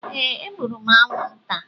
Ee, egburu m anwụnta.